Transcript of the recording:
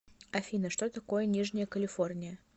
афина что такое нижняя калифорния